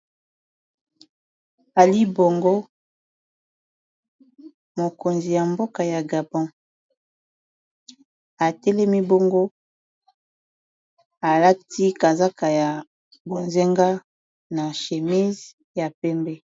ali bongo mokonzi ya mboka ya gabon atelemi bongo alati kazaka ya bozenga na shemise ya pembe